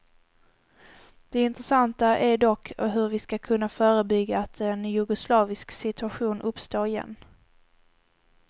Det intressanta är dock hur vi ska kunna förebygga att en jugoslavisk situation uppstår igen.